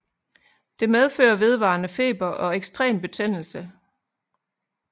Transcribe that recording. Det medfører vedvarende feber og ekstrem betændelse